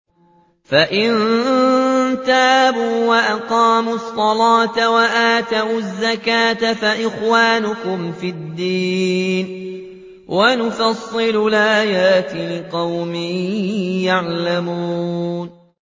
فَإِن تَابُوا وَأَقَامُوا الصَّلَاةَ وَآتَوُا الزَّكَاةَ فَإِخْوَانُكُمْ فِي الدِّينِ ۗ وَنُفَصِّلُ الْآيَاتِ لِقَوْمٍ يَعْلَمُونَ